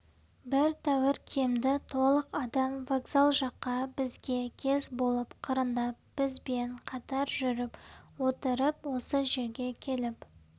бір тәуір киімді толық адам вокзал жақта бізге кез болып қырындап бізбен қатар жүріп отырып осы жерге келіп